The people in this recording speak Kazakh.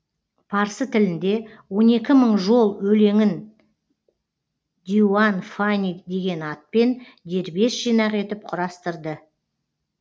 парсы тілінде он екі мың жол өлеңін диуан фани деген атпен дербес жинақ етіп құрастырды